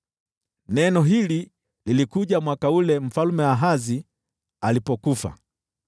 Neno hili lilikuja mwaka ule Mfalme Ahazi alipofariki: